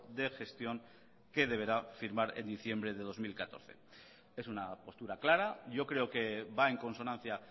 de gestión que deberá firmar en diciembre del dos mil catorce es una postura clara yo creo que va en consonancia